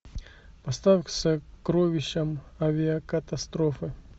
поставь сокровища авиакатастрофы